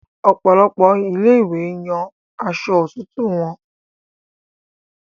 Òpòlopò ilé ìwé Yàn awọ Aṣọ òtútù wón.